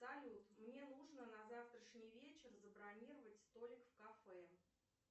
салют мне нужно на завтрашний вечер забронировать столик в кафе